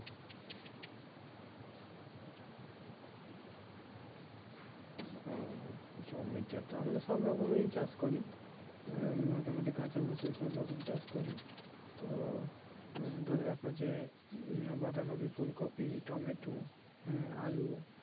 হুম জমিতে তো আমরা সব রকমই চাষ করি আহ মোটামুটি কাঁচা ফসল সব রকম চাষ করি তো ধরে রাখো যে বাঁধা কফি ফুল কফি টমেটো হ্যাঁ আলু